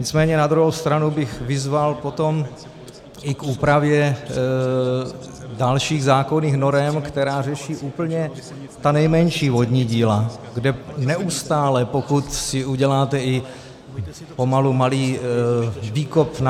Nicméně na druhou stranu bych vyzval potom i k úpravě dalších zákonných norem, které řeší úplně ta nejmenší vodní díla, kde neustále, pokud si uděláte i pomalu malý výkop na -